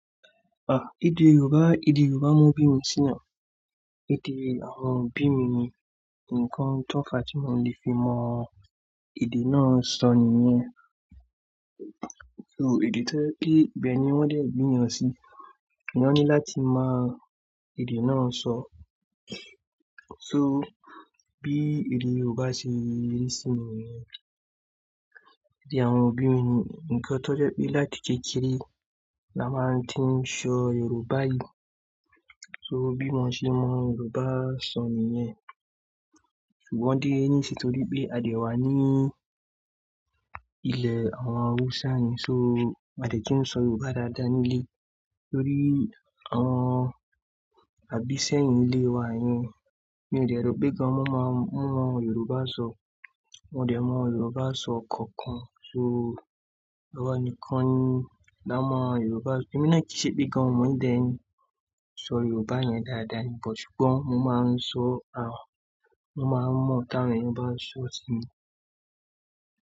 Ah! Èdè Yorùbá, èdè Yorùbá mọ bí mi sí náà. Èdè àwọn òbí mi ni, nǹkan tó fa tí mo lè fi mọ èdè náà sọ nìyẹn. So èdè to jẹ́ pé ibẹ̀ ni wọ́n dẹ̀ bí èèyàn sí, èèyàn ní láti mọ èdè náà sọ. So bí èdè Yorùbá ṣe rí sí mi nìyẹn. Bí àwọn òbí mi ni nǹkan tó jẹ́ pé láti kékeré la máa tí ń sọ Yorùbá yìí. So bí mo ṣe mọ Yorùbá sọ nìyẹn. Ṣùgbọ́n dé nísìnyí torí pé a dé wá ní ilẹ̀ àwọn Hausa yẹn, so a dẹ tún sọ Yorùbá dáadáa nílé torí àwọn àbíṣẹ́yìn ilé wa yẹn, mi ò dẹ̀ rò pé gan mo máa mọ Yorùbá sọ. Wọn ò dẹ̀ mọ Yorùbá sọ kankan. So awa nìkan ni la mọ Yorùbá. Èmi náà kì í ṣe pé gan mo ò dẹ̀ ń sọ Yorùbá yẹn dáadáa ní, but ṣùgbọ́n mo máa ń sọ àwọn, mo máa ń mọ tí àwọn Yorùbá bá sọ sí mi.